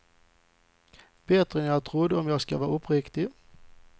Bättre än jag trodde, om jag ska vara uppriktig.